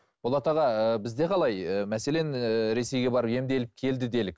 болат аға ыыы бізде қалай мәселен ііі ресейге барып емделіп келді делік